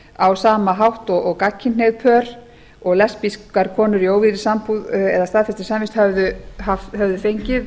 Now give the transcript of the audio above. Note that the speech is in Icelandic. sú sama hátt og gagnkynhneigð pör og lesbískar konum í óvígðri sambúð eða staðfestri samvist höfðu fengið